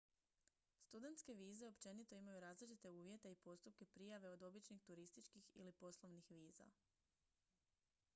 studentske vize općenito imaju različite uvjete i postupke prijave od običnih turističkih ili poslovnih viza